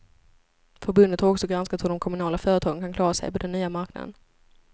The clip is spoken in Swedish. Förbundet har också granskat hur de kommunala företagen kan klara sig på den nya marknaden.